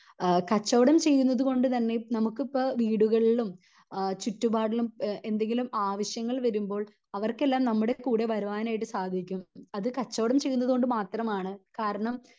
അഹ് കച്ചവടം ചെയ്യുന്നത് കൊണ്ട് തന്നേം നമുക്കിപ്പൊ വീടുകളിലും അഹ് ചുറ്റുപാടിലും എന്തെങ്കിലും എന്തെങ്കിലും ആവശ്യങ്ങൾ വരുമ്പോൾ അവർക്കെല്ലാം നമ്മുടെ കൂടെ വരുവാനായിട്ട് സാധിക്കും അത് കച്ചവടം ചെയ്യുന്നത് കൊണ്ട് മാത്രമാണ് കാരണം